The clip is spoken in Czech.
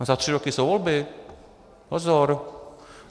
A za tři roky jsou volby, pozor!